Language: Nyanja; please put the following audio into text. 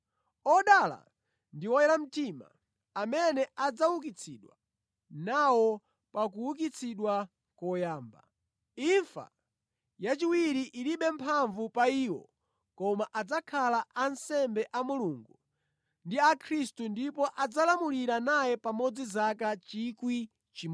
Odala ndi oyera mtima amene adzaukitsidwa nawo pa kuukitsidwa koyamba. Imfa yachiwiri ilibe mphamvu pa iwo koma adzakhala ansembe a Mulungu ndi a Khristu ndipo adzalamulira naye pamodzi zaka 1,000.